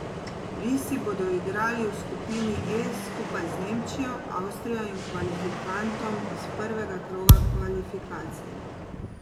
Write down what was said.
Risi bodo igrali v skupini E skupaj z Nemčijo, Avstrijo in kvalifikantom iz prvega kroga kvalifikacij.